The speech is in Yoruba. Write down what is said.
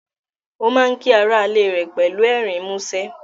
Ó má ń kí ará ilé rẹ̀ pẹ̀lú ẹ̀rín mú ṣẹ́